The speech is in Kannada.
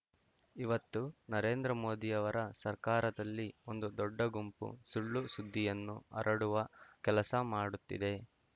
ಇವತ್ತು ನರೇಂದ್ರ ಮೋದಿಯವರ ಸರಕಾರದಲ್ಲಿ ಒಂದು ದೊಡ್ಡಗುಂಪು ಸುಳ್ಳು ಸುದ್ದಿಯನ್ನು ಹರಡುವ ಕೆಲಸ ಮಾಡುತ್ತಿದೆ